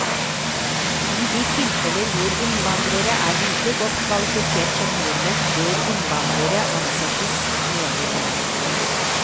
I de tilfeller hvor innvandrere er like godt kvalifisert som nordmenn, bør innvandrere ansettes, mener hun.